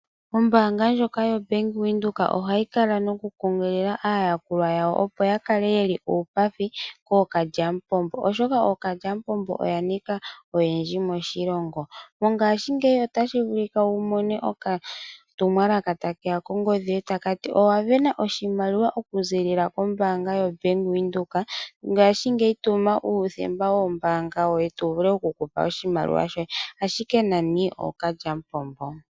Ombaanga ndjoka ya Bank Windhoek ohayi kala noku kunkilila aayakulwa yawo opo yakale yeli uupathi kookalyamupombo . Oshoka ookalya mupombo oyaninga oyendji moshilongo . Mongashingeya otashi vulika wumone okatumwalaka ta keya kongodhi takati owa sindana oshimaliwa oku ziilila kombaanga ya bank windhoek ngaashingeyi tuma uuthemba wo mbaanga yoye tu vule okukupa oshimaliwa shoye ashike nani ookalyamupombo.